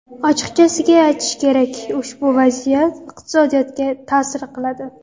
Ochiqchasiga aytish kerak, ushbu vaziyat iqtisodiyotga ta’sir qiladi.